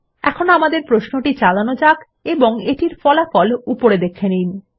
এখন আমাদের প্রশ্নটি চালানো যাক এবং এটির ফলাফল উপরে দেখে নিন